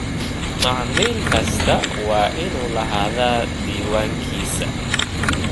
Macmiil kastaa waa inuu lahaadaa diiwaankiisa.